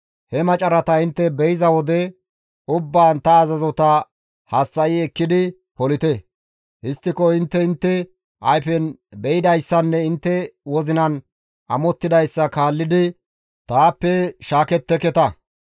He macarata intte be7iza wode ubbaan ta azazota hassa7i ekkidi polite; histtiko intte intte ayfen be7idayssanne intte wozinan amottidayssa kaallidi taappe shaaketteketa.